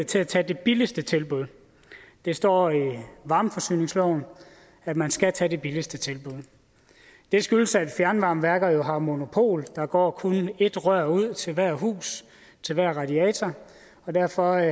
til at tage det billigste tilbud det står i varmeforsyningsloven at man skal tage det billigste tilbud det skyldes at fjernvarmeværker jo har monopol der går kun ét rør ud til hvert hus til hver radiator og derfor